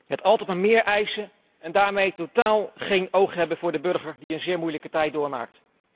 Het altijd maar meer eisen en daarmee totaal geen oog hebben voor de burger, die een zeer moeilijke tijd doormaakt.